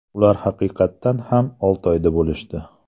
Ular haqiqatan ham Oltoyda bo‘lishdi.